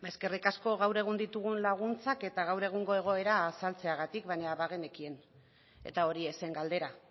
eskerrik asko gaur egun ditugun laguntzak eta gaur egungo egoera azaltzeagatik baina bagenekien eta hori ez zen galdera